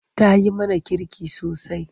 Ta yi mana kirki sosai.